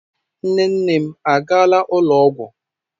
Nne nne m a gaala ụlọ ọgwụ?